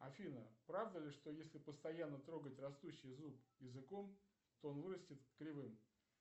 афина правда ли что если постоянно трогать растущий зуб языком то он вырастит кривым